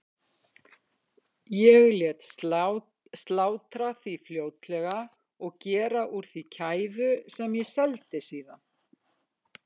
Ég lét slátra því fljótlega og gera úr því kæfu sem ég seldi síðan.